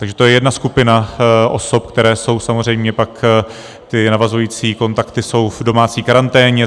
Takže to je jedna skupina osob, které jsou, samozřejmě pak ty navazující kontakty jsou v domácí karanténě.